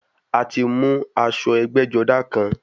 A ti mú aṣọ ẹgbẹ́-jọdá kan.